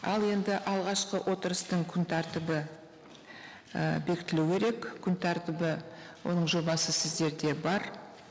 ал енді алғашқы отырыстың күн тәртібі і бекітілу керек күн тәртібі оның жобасы сіздерде бар